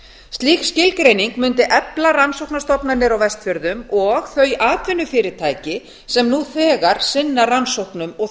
slík skilgreining mundi efla rannsóknastofnanir á vestfjörðum og þau atvinnufyrirtæki sem nú þegar sinna rannsóknum og